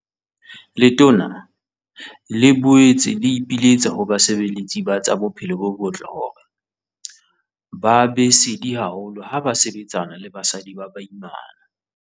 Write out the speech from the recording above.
Letona le boetse la ipiletsa ho basebeletsi ba tsa bophelo bo botle hore ba be sedi haholo ha ba sebetsana le basadi ba baimana.